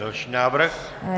Další návrh?